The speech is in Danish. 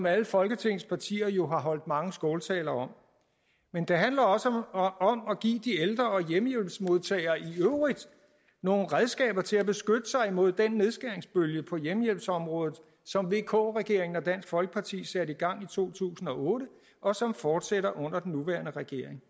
alle folketingets partier jo har holdt mange skåltaler om men det handler også om at give de ældre og hjemmehjælpsmodtagere i øvrigt nogle redskaber til at beskytte sig imod den nedskæringsbølge på hjemmehjælpsområdet som vk regeringen og dansk folkeparti satte i gang i to tusind og otte og som fortsætter under den nuværende regering